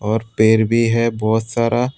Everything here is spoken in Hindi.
और पेड़ भी है बहुत सारा।